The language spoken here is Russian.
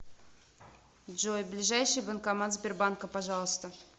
джой ближайший банкомат сбербанка пожалуйста